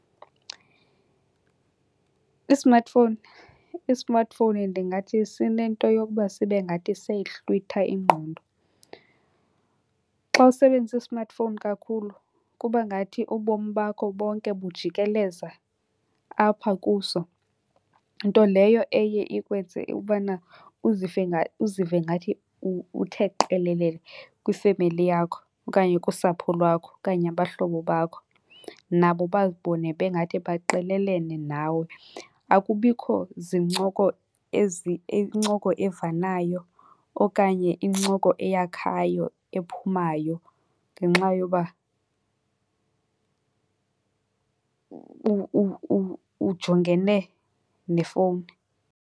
I-smartphone, i-smartphone ndingathi sinento yokuba sibe ngathi seyayihlwitha ingqondo. Xa usebenzisa i-smartphone kakhulu kuba ngathi ubomi bakho bonke bujikeleza apha kuso. Nto leyo eye ikwenze ubana uzive ngathi uthe qelelele kwifemeli yakho okanye kusapho lwakho okanye abahlobo bakho. Nabo bazibone bengathi baqelelene nawe. Akubikho zincoko incoko evanayo okanye incoko eyakhayo ephumayo ngenxa yoba ujongene nefowuni.